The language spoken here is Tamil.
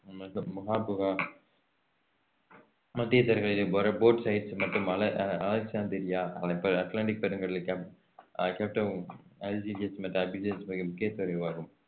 மத்திய தரைக்கடலில் போர~ போர்சைடு மற்றும் அலெக்~ அஹ் அலெக்ஸாந்திரியா அட்லாண்டிக் பெருங்கடல் கேப்~ அஹ் கேப்டவுன் அல்ஜீயஸ் மற்றும் அபிட்ஜன் ஆகியவை முக்கிய ஆகும்